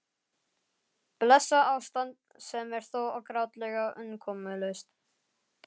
Blessað ástand sem er þó grátlega umkomulaust.